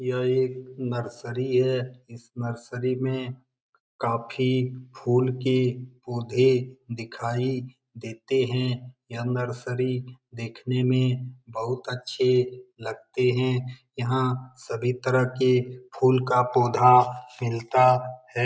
यह एक नर्सरी है इस नर्सरी में काफी फूल के पौधे दिखाई देते है यह नर्सरी देखने में बहुत अच्छे लगते है यहाँ सभी तरह के फूल का पौधा मिलता है ।